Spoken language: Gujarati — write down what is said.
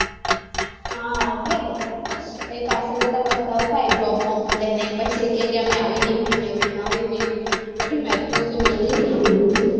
એટલે જ ને પહી પાછલ જતા પસ્તાવો થાય job bob મળે નઈ પછી કે કે અમે આવી degree મેળવી આવી મેળવી બધી micro થો મેળવી છે degree તો